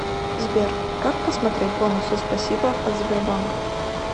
сбер как посмотреть бонусы спасибо от сбербанка